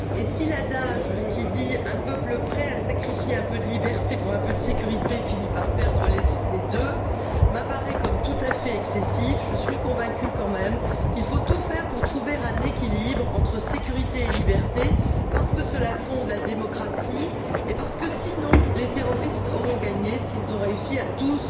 Si l'adage qui dit qu'un peuple prêt à sacrifier un peu de liberté pour un peu de sécurité finit par perdre les deux m'apparaît comme tout à fait excessif, je suis quand même convaincue qu'il faut tout faire pour trouver un équilibre entre sécurité et liberté parce que cela fonde la démocratie et parce que, sinon, les terroristes auront gagné s'ils réussissent à tous